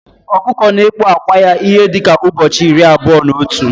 Ọkụkọ na ekpu ákwà ya ihe dika ụbọchị irí abụọ na otu